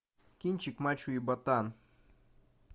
кинчик мачо и ботан